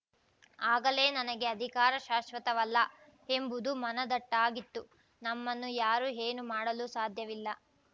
ಆಗಲೇ ನನಗೆ ಅಧಿಕಾರ ಶಾಶ್ವತವಲ್ಲ ಎಂಬುದು ಮನದಟ್ಟಾಗಿತ್ತು ನಮ್ಮನ್ನು ಯಾರೂ ಏನೂ ಮಾಡಲು ಸಾಧ್ಯವಿಲ್ಲ